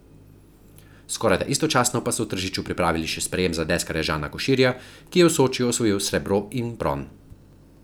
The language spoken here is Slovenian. Skorajda istočasno pa so v Tržiču pripravili še sprejem za deskarja Žana Koširja, ki je v Sočiju osvojil srebro in bron.